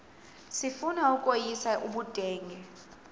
sifuna ukweyis ubudenge